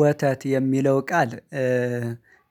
ወተት የሚለው ቃል